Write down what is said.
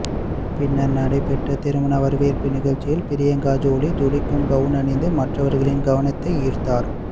பின்னர் நடைப்பெற்ற திருமணம் வரவேற்பு நிகழ்ச்சியில் பிரியங்கா ஜோலி ஜொலிக்கும் கவுன் அணிந்து மற்றவர்களின் கவனத்தை ஈர்த்தார்